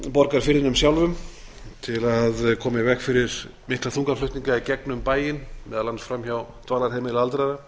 borgarfirðinum sjálfum til að koma í veg fyrir mikla þungaflutninga í gegnum bæinn meðal annars fram hjá dvalarheimili aldraðra